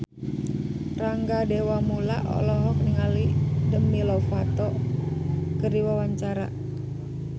Rangga Dewamoela olohok ningali Demi Lovato keur diwawancara